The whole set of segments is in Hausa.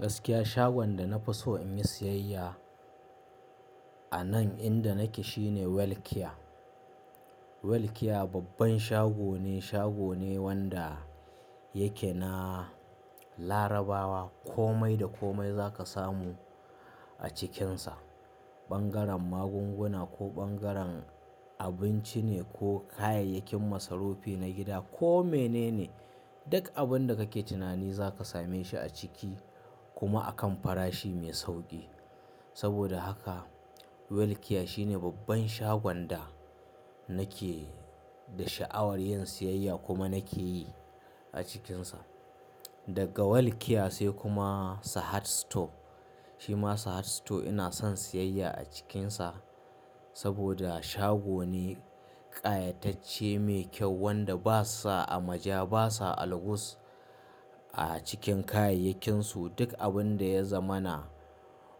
Gaskiya shagon da na fi so in yi siyayya a nan inda nake shine Welkia. Welkia babban shago ne, shago ne wanda yake na Larabawa. Komai da komai za ka samu a cikinsa. Ɓangaren magunguna ko ɓangaren abinci ne ko kayayyakin masarufi na gida ko mene ne, duk abin da kake tunani za ka same shi a ciki kuma a kan farashi mai sauƙi. Saboda haka Welkia shine babban shagon da nake da sha'awar yin siyayya kuma nake yi a cikinsa. Daga Welkia sai kuma Sahad Store. Shi ma Sahad Store ina son siyayya a cikinsa saboda shago ne ƙayatacce mai kyau wanda ba sa amaja, ba sa algus a cikin kayayyakinsu. Duk abin da ya zamana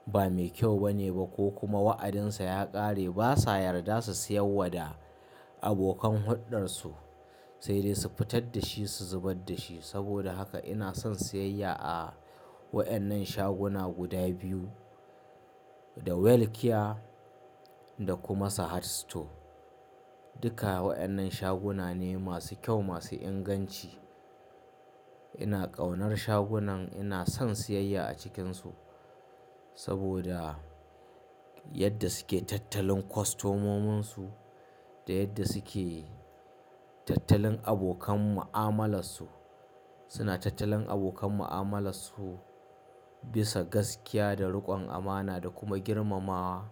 ba mai kyau bane ba ko kuma wa'adinsa ya ƙare ba sa yarda su siyawwa da abokan huddarsu, sai dai su fitar da shi, su zubar da shi. Saboda haka ina son siyayya a waɗannan shaguna guda biyu, da Welkia da kuma Sahad Store. Duka waɗannan shaguna ne masu kyau, masu inganci. Ina ƙaunar shagunan, ina son siyayya a cikinsu saboda, yadda suke tattalin kwastomominsu da yadda suke tattalin abokan ma'amalar su. Suna tattalin abokan ma'amalar su bisa gaskiya da riƙon amana da kuma girmamawa.